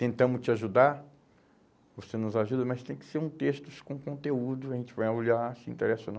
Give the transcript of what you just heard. Tentamos te ajudar, você nos ajuda, mas tem que ser um textos com conteúdo, a gente vai olhar se interessa ou não.